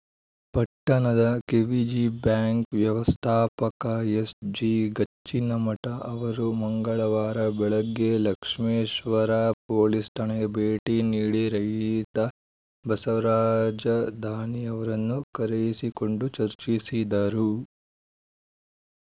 ಪಟ್ಟಣದ KVG bank ವ್ಯವಸ್ಥಾಪಕ ಎಸ್‌ಜಿಗಚ್ಚಿನಮಠ ಅವರು ಮಂಗಳವಾರ ಬೆಳಗ್ಗೆ ಲಕ್ಷ್ಮೇಶ್ವರ ಪೊಲೀಸ್‌ ಠಾಣೆಗೆ ಭೇಟಿ ನೀಡಿ ರೈತ ಬಸವರಾಜ ದಾನಿ ಅವರನ್ನು ಕರೆಯಿಸಿಕೊಂಡು ಚರ್ಚಿಸಿದರು